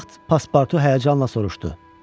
Bu vaxt paspartu həyəcanla soruşdu: